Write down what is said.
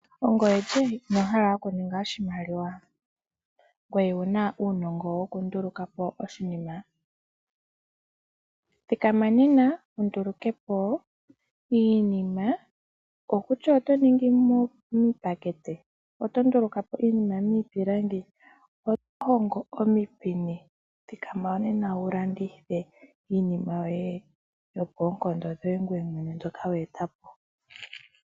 Ongoye lye inoo hala okuninga oshimaliwa ngoye wu na uunongo wokunduluka po iinima? Thikama nena wu nduluke po iinima, kutya oto ningi miipakete, oto nduluka po iinima miipilangi, oto hongo omipini, thikama nena wu landithe iinima yoye yoonkondo dhoye ngoye mwene mbyoka we eta po.